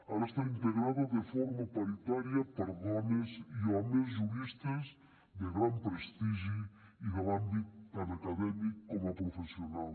ara està integrada de forma paritària per dones i homes juristes de gran prestigi i de l’àmbit tant acadèmic com professional